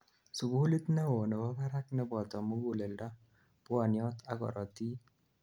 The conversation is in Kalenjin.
sugulit neo nebo barak nebo muguleldo, pwoniot ak korotik